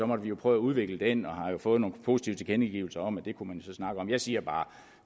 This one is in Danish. måtte vi jo prøve at udvikle den og vi har jo fået nogle positive tilkendegivelser om at det kunne man så snakke om jeg siger bare